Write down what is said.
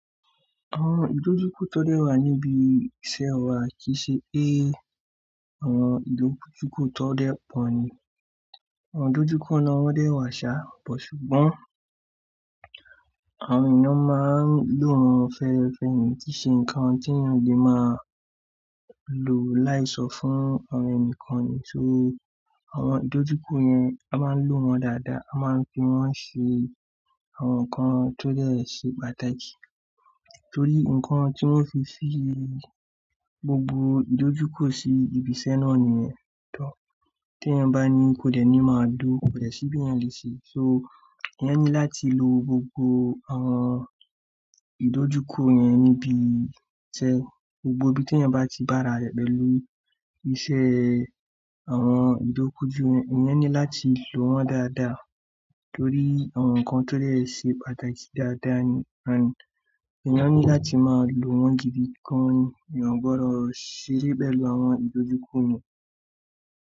Àwọn ìdojúkọ tó dẹ́ wà níbi iṣẹ́ wa kìí ṣe pé àwọn ìdojúkọ tó dẹ́ pọ̀ ni. Àwọn ìdojúkọ náà wọ́n dẹ́ wà ṣá, but ṣùgbọ́n àwọn èèyàn máa ń lò àwọn fẹ́ẹ́fẹ́ ìtí ṣe ǹkan tí èèyàn lè máa lò láì sọ fún àwọn ẹnìkan ni. So àwọn ìdojúkọ yẹn a máa ń lò wọ́n dáadáa, a máa ń fi wọ́n ṣe àwọn ǹkan tó dẹ́ ṣe pàtàkì. Torí ǹkan tí wọ́n fi ṣí gbogbo ìdojúkọ sí ibi iṣẹ́ náà nìyẹn. Ìtọ́ tí èèyàn bá ní kò dẹ́ ni máa dó, kò dẹ́ sí bí èèyàn lè ṣe. So èèyàn ní láti lo gbogbo àwọn ìdojúkọ yẹn níbi iṣẹ́. Gbogbo ibi tí èèyàn bá ti bá ara rẹ̀ pẹ̀lú iṣẹ́ àwọn ìdojúkọ yẹn, èèyàn ní láti lò wọ́n dáadáa torí àwọn ǹkan tó dẹ́ ṣe pàtàkì dáadáa ni. Ànd, èèyàn ní láti máa lò wọ́n gidi. Ǹkan ni àwọn gbọdọ̀ ṣeré pẹ̀lú àwọn ìdojúkọ yẹn.